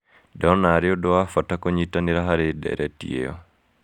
Ndona arĩ ũndũ wa bata kũnyitanĩra harĩ ndeereti ĩyo.